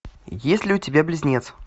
есть ли у тебя близнец